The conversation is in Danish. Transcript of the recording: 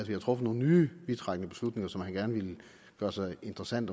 havde truffet nogle nye vidtrækkende beslutninger som han gerne ville gøre sig interessant